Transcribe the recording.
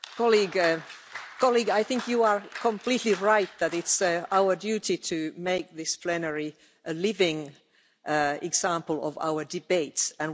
Colleague, I think you are completely right that it's our duty to make this plenary a living example of our debates, and we need debate.